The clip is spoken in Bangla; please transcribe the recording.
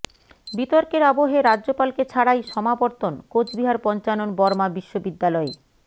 বিতর্কের আবহে রাজ্যপালকে ছাড়াই সমাবর্তন কোচবিহার পঞ্চানন বর্মা বিশ্ববিদ্যালয়ে